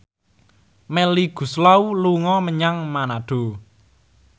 Melly Goeslaw dolan menyang Manado